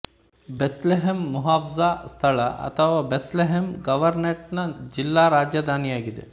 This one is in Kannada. ಬೆಥ್ ಲೆಹೆಮ್ ಮುಹ್ಫಾಝಾ ಸ್ಥಳ ಅಥವಾ ಬೆಥ್ ಲೆಹೆಮ್ ಗವರ್ನೇಟ್ ನ ಜಿಲ್ಲಾ ರಾಜಧಾನಿಯಾಗಿದೆ